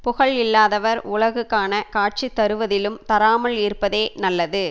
புகழ் இல்லாதவர் உலகு காண காட்சி தருவதிலும் தராமல் இருப்பதே நல்லது